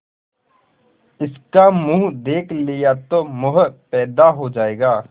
इसका मुंह देख लिया तो मोह पैदा हो जाएगा